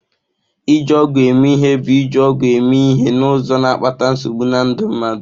Iji ọgwụ eme ihe bụ iji ọgwụ eme ihe n'ụzọ na-akpata nsogbu na ndụ mmadụ.